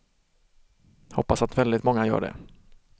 Hoppas att väldigt många gör det.